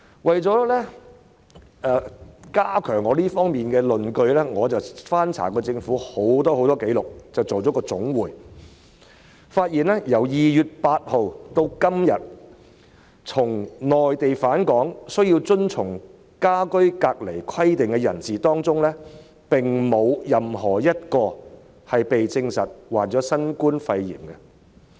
為了加強我在這方面的論據，我翻查了很多政府紀錄，並且作出總結，發現由2月8日至今，由內地返港需要遵從家居隔離規定的人士當中，並無任何一人證實患上新冠肺炎。